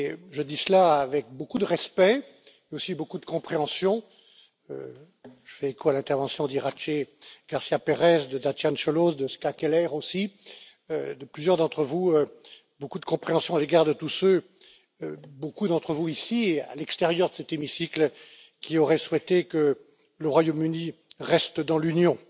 Je dis cela avec beaucoup de respect, et aussi beaucoup de compréhension. Je fais écho à l'intervention d'Iratxe Garcia Pérez, de Dacian Cioloș et de Ska Keller aussi, de plusieurs d'entre vous beaucoup de compréhension à l'égard de tous ceux, beaucoup d'entre vous ici et à l'extérieur de cet hémicycle, qui auraient souhaité que le Royaume Uni reste dans l'Union.